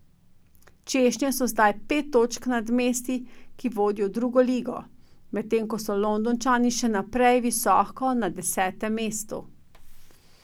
Češnje so zdaj pet točk nad mesti, ki vodijo v drugo ligo, medtem ko so Londončani še naprej visoko na desetem mestu.